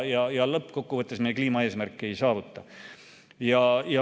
Lõppkokkuvõttes me kliimaeesmärke ei saavuta.